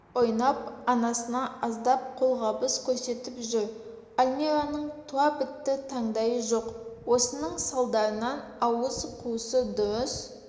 ойнап анасына аздап қолғабыс көрсетіп жүр альмираның туабітті таңдайы жоқ осының салдарынан ауыз қуысы дұрыс